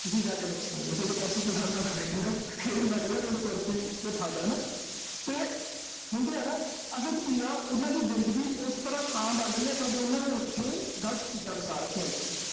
ਤੁਸੀਂ ਜਾ ਕੇ ਬੈਠ ਸਕਦੇ ਓਂ। ਜੇ ਕੁਰਸੀ ਪਸੰਦ ਆ ਤਾਂ ਬੈਠੇ ਰਹੋ। ਫਿਰ ਨਾ ਕਹਿ ਦਿਓ, ਮੈਨੂੰ ਕੁਰਸੀ ਤੋਂ ਠਾ ਤਾ ਹਨਾ। ਤੇ ਹੁੰਦੇ ਆ ਹਨਾ। ਅਸਲ ਚ ਕੀ ਆ, ਉਨ੍ਹਾਂ ਦੀ ਜ਼ਿੰਦਗੀ, ਓਸ ਤਰ੍ਹਾਂ ਤਾਂ ਬਣ ਰਹੀ ਆ, ਕਿਉਂ ਕਿ ਉਨ੍ਹਾਂ ਨੇ ਉਥੇ, ਗਲਤ ਚੀਜ਼ਾਂ ਵਸਾ ਰੱਖੀਆਂ ਇਥੇ।